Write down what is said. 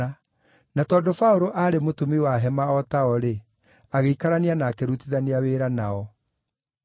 na tondũ Paũlũ aarĩ mũtumi wa hema o tao-rĩ, agĩikarania na akĩrutithania wĩra nao.